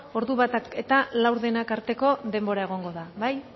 ordu batak eta laurdenak arteko denbora egongo da bai